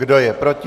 Kdo je proti?